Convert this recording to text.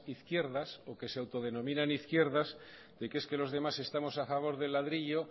izquierdas o que se autodenominan izquierdas de que es que los demás estamos a favor del ladrillo